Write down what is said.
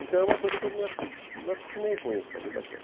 Então é uma coisa que eu me acostumei com isso a vida toda.